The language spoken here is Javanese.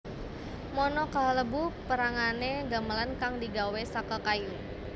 mono kalebu pérangané gamelan kang digawé saka kayu